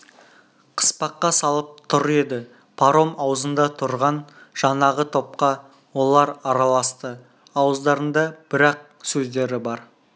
қыспаққа салып тұр еді паром аузында тұрған жаңағы топқа олар араласты ауыздарында бір-ақ сөздері бар